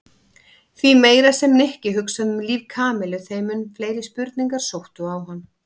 Því meira sem Nikki hugsaði um líf Kamillu þeim mun fleiri spurningar sóttu á hann.